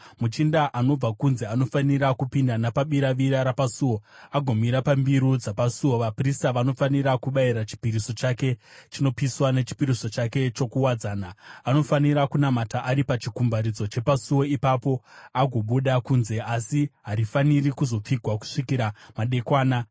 Muchinda anobva kunze anofanira kupinda napabiravira rapasuo agomira pambiru dzapasuo. Vaprista vanofanira kubayira chipiriso chake chinopiswa nechipiriso chake chokuwadzana. Anofanira kunamata ari pachikumbaridzo chepasuo ipapo agobuda kunze, asi harifaniri kuzopfigwa kusvikira madekwana.